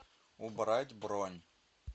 убрать бронь